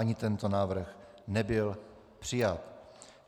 Ani tento návrh nebyl přijat.